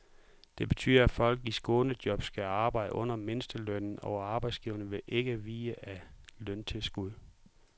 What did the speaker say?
Det betyder, at folk i skånejob skal arbejde under mindstelønnen, og arbejdsgiverne vil ikke vide af løntilskud.